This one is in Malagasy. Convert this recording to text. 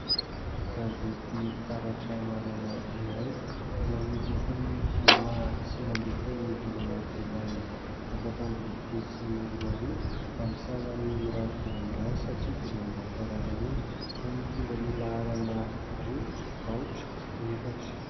Gazety Taratra Maraina iray izay nivoaka ny zoma sivy ambin'ny folo ny volana jolay efatra amby roapolo sy roarivo, amin'ny sarany mirary dia mirary satria dimanjato ariary monja, izay mitondra ny laharana : roa, aotra efatra.